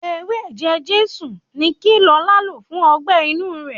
Ewé ẹ̀jẹ Jésù ni kí Lọlá lò fún ọgbẹ́-inú rẹ̀.